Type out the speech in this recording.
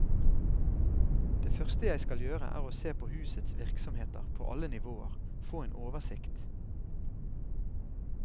Det første jeg skal gjøre er å se på husets virksomheter på alle nivåer, få en oversikt.